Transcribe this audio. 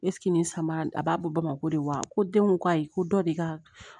nin samara a b'a bɔ bamakɔ de wa ko denko ayi ko dɔ de ka